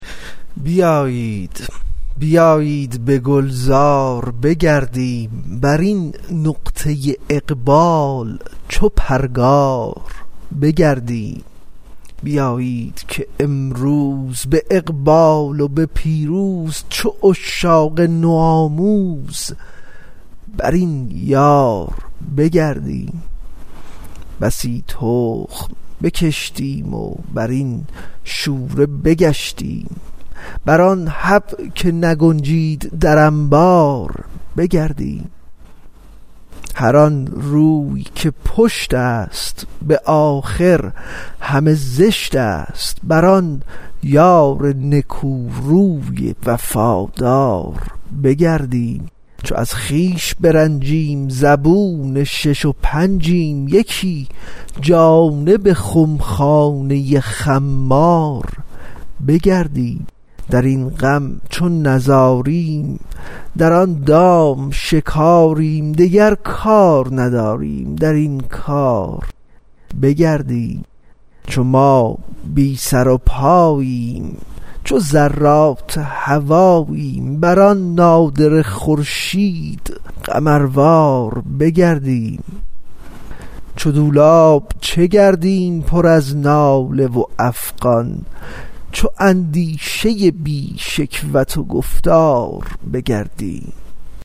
بیایید بیایید به گلزار بگردیم بر این نقطه اقبال چو پرگار بگردیم بیایید که امروز به اقبال و به پیروز چو عشاق نوآموز بر آن یار بگردیم بسی تخم بکشتیم بر این شوره بگشتیم بر آن حب که نگنجید در انبار بگردیم هر آن روی که پشت است به آخر همه زشت است بر آن یار نکوروی وفادار بگردیم چو از خویش برنجیم زبون شش و پنجیم یکی جانب خمخانه خمار بگردیم در این غم چو نزاریم در آن دام شکاریم دگر کار نداریم در این کار بگردیم چو ما بی سر و پاییم چو ذرات هواییم بر آن نادره خورشید قمروار بگردیم چو دولاب چه گردیم پر از ناله و افغان چو اندیشه بی شکوت و گفتار بگردیم